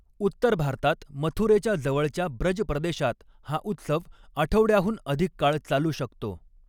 उत्तर भारतात मथुरेच्या जवळच्या ब्रज प्रदेशात हा उत्सव आठवड्याहून अधिक काळ चालू शकतो.